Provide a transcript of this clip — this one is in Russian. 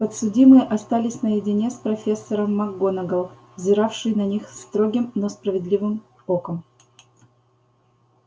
подсудимые остались наедине с профессором макгонагалл взиравшей на них строгим но справедливым оком